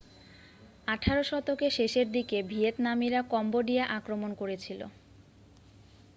আঠেরো শতকের শেষের দিকে ভিয়েতনামিরা কম্বোডিয়া আক্রমণ করেছিল